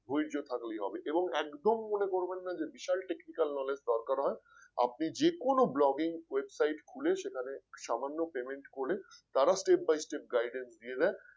ধৈর্য থাকলেই হবে এবং একদম মনে করবেন না যে বিশাল Technical knowledge দরকার হয় আপনি যে কোন Blogging website খুলে সেখানে সামান্য payment করে তারা step by step guidance দিয়ে দেয়